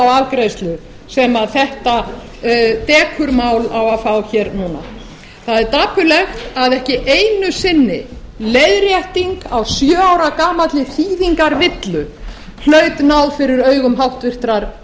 afgreiðslu sem þetta dekurmál á að fá hér núna það er dapurlegt að ekki einu sinni leiðrétting á sjö ára gamalli þýðingarvillu hlaut náð fyrir augum háttvirtur